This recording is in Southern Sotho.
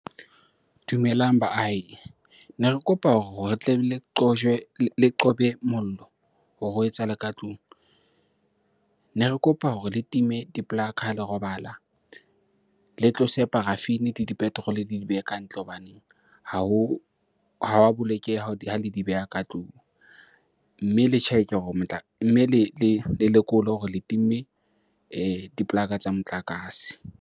Dumelang baahi. Ne re kopa hore re tle le qojwe le qobe mollo hore o etsahale ka tlung. Ne re kopa hore le time di-plug ha le robala. Le tlose paraffin-e le di-petrol-e le di behe kantle hobaneng ha ho, ha wa bolokeha ha le di beha ka tlung. Mme le check e hore, mme le lekole hore le timme dipolaka tsa motlakase.